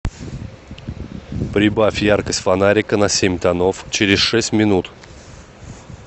прибавь яркость фонарика на семь тонов через шесть минут